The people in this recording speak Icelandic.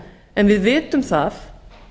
en við vitum það